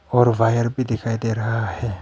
और वायर भी दिखाई दे रहा है।